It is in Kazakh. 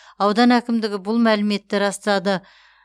аудан әкімдігі бұл мәліметті растады